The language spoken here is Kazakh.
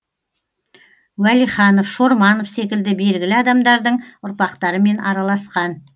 уәлиханов шорманов секілді белгілі адамдардың ұрпақтарымен араласқан